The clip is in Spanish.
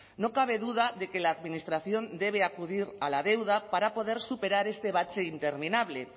no cabe duda de que la administración debe acudir a la deuda para poder superar este bache interminable